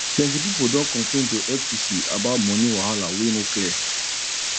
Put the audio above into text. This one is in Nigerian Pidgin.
plenty pipo don complain to ftc about money wahala wey no clear